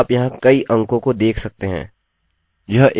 यह एक विशिष्ट timestamp है